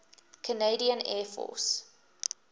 canadian air force